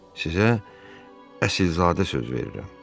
Sizə əsilzadə söz verirəm.